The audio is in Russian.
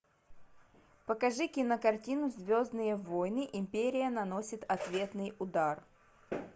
покажи кинокартину звездные войны империя наносит ответный удар